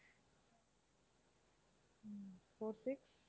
um four six